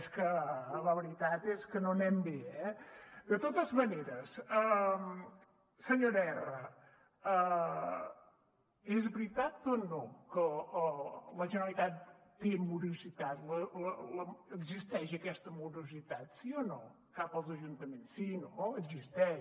és que la veritat és que no anem bé eh de totes maneres senyora erra és veritat o no que la generalitat té morositat existeix aquesta morositat sí o no cap als ajuntaments sí no existeix